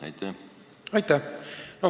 Aitäh!